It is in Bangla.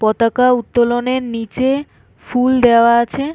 পতাকা উত্তোলনের নিচে ফুল দেওয়া আছে--